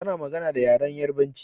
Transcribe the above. Ta na magana da yaren Yarabanci